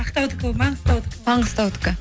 ақтаудікі ол маңғыстаудікі маңғыстаудікі